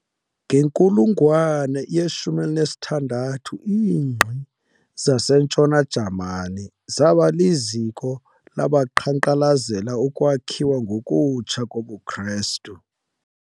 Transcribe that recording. Ngenkulungwane ye-16, iingqi zasentshona Jamani zaba liziko labaqhankqalazela ukwakhiwa ngokutsha kobuKristu.